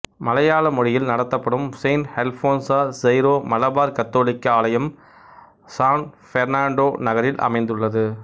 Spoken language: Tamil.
மலையாள மொழியில் நடத்தப்படும் செயின்ட் அல்போன்ஸா சைரோ மலபார் கத்தோலிக்க ஆலயம் சான் பெர்ணான்டோ நகரில் அமைந்துள்ளது